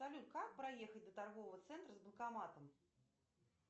салют как проехать до торгового центра с банкоматом